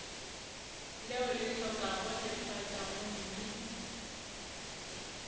leo le hlokago lefatša gomme